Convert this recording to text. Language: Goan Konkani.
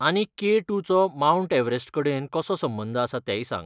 आनी के टूचो मावंट एव्हरेस्ट कडेन कसो संबंद आसा तेंय सांग.